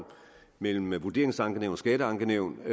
mellem vurderingsankenævn og skatteankenævn